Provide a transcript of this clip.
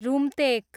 Rumtek